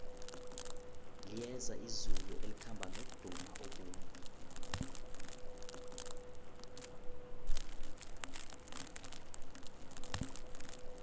liyeza izulu elikhamba nomdumo omumbi